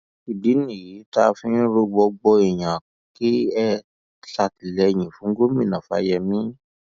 ìdí nìyí tá a fi ń rọ gbogbo yín kẹ ẹ ṣàtìlẹyìn fún gómìnà fáyemí